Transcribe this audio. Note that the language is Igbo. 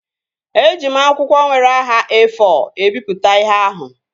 Eji m akwụkwọ nwere nhá E-fọ ebipụta ihe ahụ